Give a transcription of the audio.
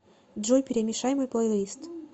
джой перемешай мой плейлист